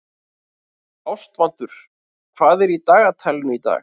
Ástvaldur, hvað er í dagatalinu í dag?